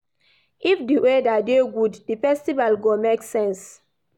If di weather dey good, di festival go make sense.